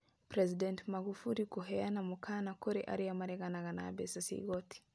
President Magufuli kũheana mũkaana kũrĩ arĩa mareganaga na mbeca cia igoti